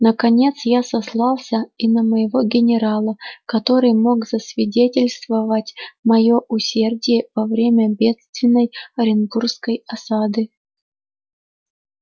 наконец я сослался и на моего генерала который мог засвидетельствовать моё усердие во время бедственной оренбургской осады